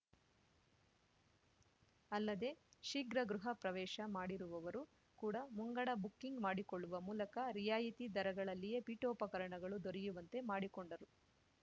ಅಲ್ಲದೆ ಶೀಘ್ರ ಗೃಹ ಪ್ರವೇಶ ಮಾಡಿರುವವರು ಕೂಡ ಮುಂಗಡ ಬುಕ್ಕಿಂಗ್‌ ಮಾಡಿಕೊಳ್ಳುವ ಮೂಲಕ ರಿಯಾಯಿತಿ ದರಗಳಲ್ಲಿಯೇ ಪೀಠೋಪಕರಣಗಳು ದೊರೆಯುವಂತೆ ಮಾಡಿಕೊಂಡರು